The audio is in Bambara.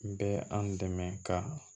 N bɛ an dɛmɛ ka